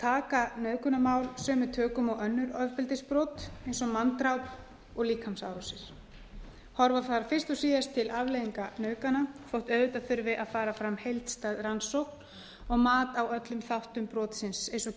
taka nauðgunarmál sömu tökum og önnur ofbeldisbrot eins og manndráp og líkamsárásir horfa þarf fyrst og síðast til afleiðinga nauðgana þótt auðvitað þurfi að fara fram heildstæð rannsókn og mat á öllum þáttum brotsins eins og